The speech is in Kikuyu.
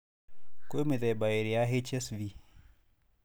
Kwĩ mĩthemba ĩrĩ ya HSV.